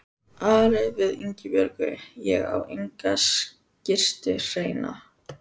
Ari sagði við Ingibjörgu: Ég á enga skyrtu hreina.